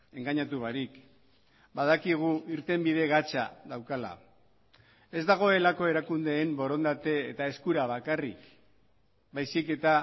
engainatu barik badakigu irtenbide gatza daukala ez dagoelako erakundeen borondate eta eskura bakarrik baizik eta